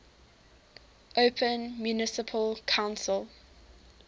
open municipal council